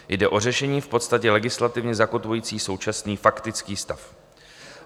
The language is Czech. Jde o řešení v podstatě legislativně zakotvující současný faktický stav.